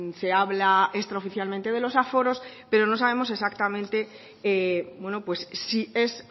se habla extraoficialmente de los aforos pero no sabemos exactamente si es